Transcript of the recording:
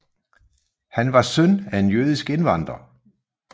Han var søn af en jødisk indvandrer